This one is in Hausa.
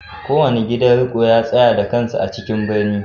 Kowane gidan riko ya tsaya da kansa a cikin birni